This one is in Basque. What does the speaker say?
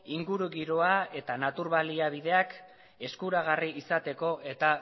ingurugiroa eta natur baliabideak eskuragarri izateko eta